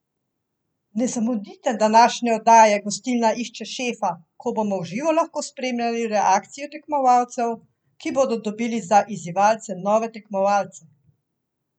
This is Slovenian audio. Ne zamudite današnje oddaje Gostilna išče šefa, ko bomo v živo lahko spremljali reakcijo tekmovalcev, ki bodo dobili za izzivalce nove tekmovalce!